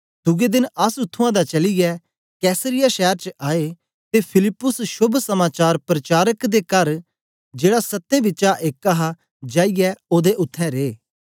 दुए देन अस उत्त्थुआं दा चलीयै कैसरिया शैर च आए ते फिलिप्पुस शोभ समाचार पर्चारक दे कर च जेड़ा सत्तें बिचा एक हा जाईयै ओदे उत्थें रे